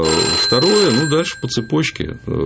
второе ну дальше по цепочке